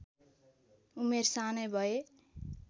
उमेर सानै भए